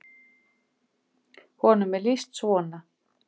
Honum er lýst svona: